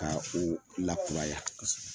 Ka o lakuraya.